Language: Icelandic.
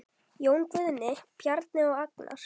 Jón Guðni, Bjarni og Agnar.